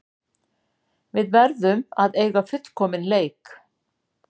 Við verðum að eiga fullkominn leik